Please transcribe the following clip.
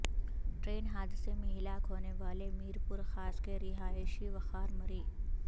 train حادثے میں ہلاک ہونے والے میرپور خاص کے رہائشی وقار مری